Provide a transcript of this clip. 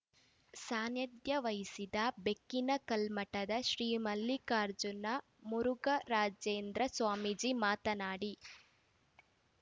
ಸಾನ್ನಿಧ್ಯ ವಹಿಸಿದ್ದ ಬೆಕ್ಕಿನ ಕಲ್ಮಠದ ಶ್ರೀ ಮಲ್ಲಿಕಾರ್ಜುನ ಮುರುಘರಾಜೇಂದ್ರ ಸ್ವಾಮೀಜಿ ಮಾತನಾಡಿ